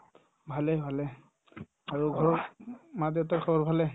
ভালে ভালে আৰু ঘৰৰ মা-দেউতাৰ খবৰ ভালে